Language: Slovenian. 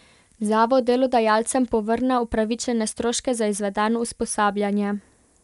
Zavod delodajalcem povrne upravičene stroške za izvedeno usposabljanje.